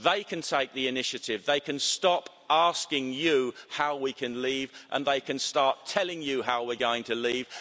They can take the initiative. They can stop asking you how we can leave and they can start telling you how we're going to leave.